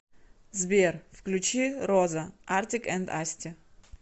сбер включи роза артик энд асти